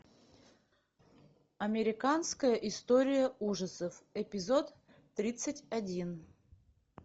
американская история ужасов эпизод тридцать один